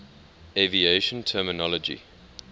aviation terminology